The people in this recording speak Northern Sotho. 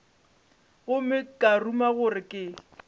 gomme ka ruma gore ke